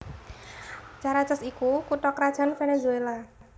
Caracas iku kutha krajan Venezuela